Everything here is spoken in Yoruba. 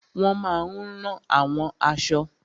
Wọ́n máa n rán àwọn aṣọ